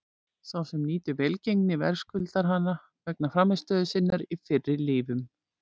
Sá sem nýtur velgengni verðskuldar hana vegna frammistöðu sinnar í fyrri lífum.